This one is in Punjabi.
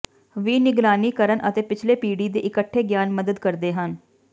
ਵੀ ਨਿਗਰਾਨੀ ਕਰਨ ਅਤੇ ਪਿਛਲੇ ਪੀੜ੍ਹੀ ਦੇ ਇਕੱਠੇ ਗਿਆਨ ਮਦਦ ਕਰਦੇ ਹਨ